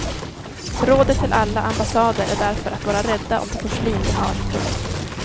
Rådet till alla ambassader är därför att vara rädda om det porslin de har. punkt